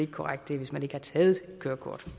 korrekt det er hvis man ikke har taget kørekort